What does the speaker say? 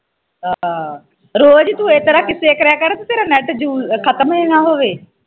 ਰੋਜ਼ ਈ ਤੂੰ ਇਸਤਰਾਂ ਕਿੱਸੇ ਕਰਿਆ ਕਰ ਤੇਰਾ ਨੈੱਟ use ਖਤਮ ਈ ਨਾ ਹੋਵੇ।